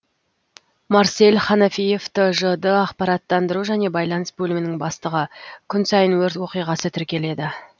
марсель ханафиев тжд ақпараттандыру және байланыс бөлімінің бастығы күн сайын өрт оқиғасы тіркеледі